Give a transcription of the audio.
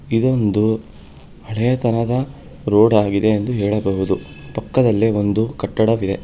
ಇದೊಂದು ಹಳೆಯ ತರಹದ ರೋಡ ಆಗಿದೆ ಎಂದು ಹೇಳಬಹುದು ಪಕ್ಕದಲ್ಲೆ ಒಂದು ಕಟ್ಟಡವಿದೆ.